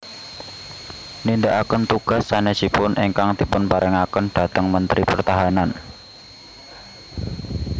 Nindakaken tugas sanésipun ingkang dipunparingaken dhateng Mentri Pertahanan